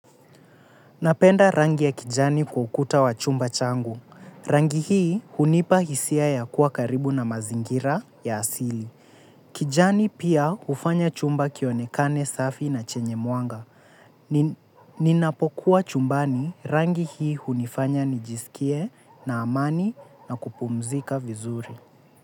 Napenda rangi ya kijani kwa ukuta wa chumba changu. Rangi hii hunipa hisia ya kuwa karibu na mazingira ya asili. Kijani pia hufanya chumba kionekane safi na chenye mwanga. Ninapokuwa chumbani rangi hii hunifanya nijisikie na amani na kupumzika vizuri.